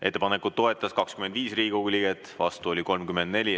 Ettepanekut toetas 25 Riigikogu liiget, vastu oli 34.